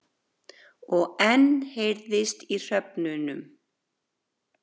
Og enn heyrðist í hröfnunum.